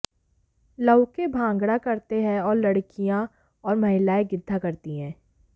लउके भांगडा करते है और लडकियां और महिलाएं गिद्धा करती है